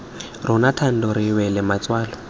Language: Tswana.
rona thando re wela matswalo